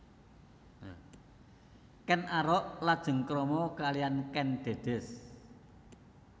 Ken Arok lajeng krama kaliyan Kèn Dèdès